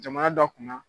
Jamana dɔ kunna